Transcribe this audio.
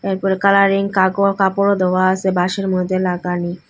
একবারে কালারিং কাগও-কাপড়ও দেওয়া আসে বাঁশের মধ্যে লাগানি ।